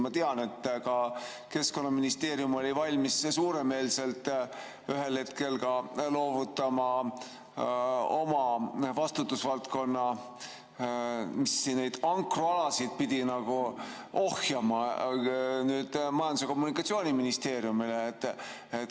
Ma tean, et Keskkonnaministeerium oli valmis suuremeelselt ühel hetkel loovutama oma vastutusvaldkonna, mis neid ankrualasid pidi ohjama, Majandus‑ ja Kommunikatsiooniministeeriumile.